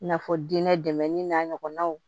I n'a fɔ diinɛ dɛmɛni n'a ɲɔgɔnnaw